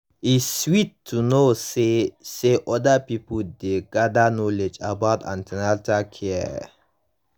e sweet to know say say other pipo dey gather knowledge about an ten atal care